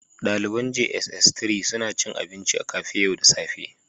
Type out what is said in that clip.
Daliban jss 3 suna cin abinci a cafe yau da safe